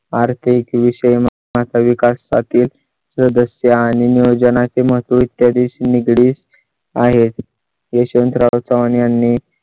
आर्थिक विषमता, माता विकासातील सदस्य आणि नियोजना चे महत्त्व इत्यादी शी निगडीत आहेत. यशवंतराव चव्हाण यांनी